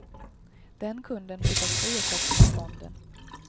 Den kunden fick också ersättning ur fonden.